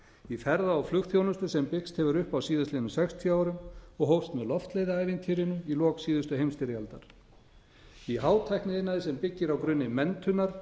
í ferða og flugþjónustu sem byggst hefur upp á síðastliðnum sextíu árum og hófst með loftleiðaævintýrinu í lok síðustu heimsstyrjaldar í hátækniiðnaði sem byggir á grunni menntunar í